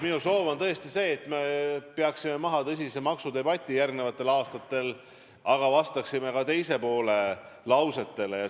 Minu soov on tõesti see, et me peaksime järgmistel aastatel maha tõsise maksudebati, aga vastaksime ka teise poole lausetele.